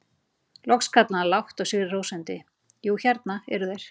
Loks kallaði hann lágt og sigri hrósandi: Jú, hérna eru þeir!